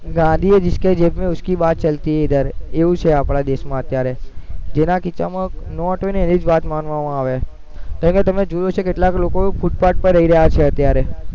ગાંધી હે જિસકે જેબ મેં ઉસકી બાત ચાલતી હે ઇધર એવું છે આપણા દેશમાં અત્યારે જેના ખીચ્ચામાં નોટ હોય ને એની જ વાત માનવામાં આવે તમે જોવો છો કેટલાક લોકો ફૂટપાથ પર રહી રહ્યા છે અત્યારે